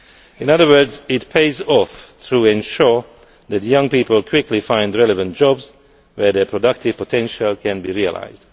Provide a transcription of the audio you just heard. In other words, it pays off to ensure that young people quickly find relevant jobs where their productive potential can be realised.